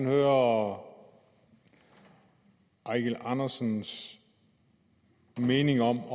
herre eigil andersens mening om